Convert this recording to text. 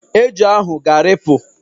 Eju ahụ ga-arịpụ.